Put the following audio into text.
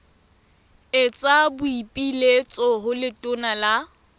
etsa boipiletso ho letona la